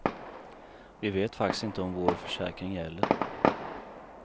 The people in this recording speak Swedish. Vi vet faktiskt inte om vår försäkring gäller.